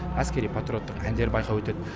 әскери патриоттық әндер байқауы өтеді